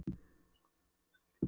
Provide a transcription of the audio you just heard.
SKÚLI: Og síðan er liðinn klukkutími?